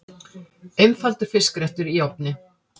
Einfaldur fiskréttur í ofni